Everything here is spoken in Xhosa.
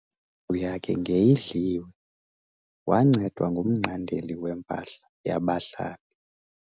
Indlu yakhe ngeyidliwe wancedwa ngumnqandeli wempahla yabahlali.